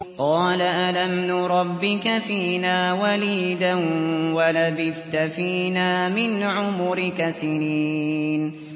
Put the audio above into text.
قَالَ أَلَمْ نُرَبِّكَ فِينَا وَلِيدًا وَلَبِثْتَ فِينَا مِنْ عُمُرِكَ سِنِينَ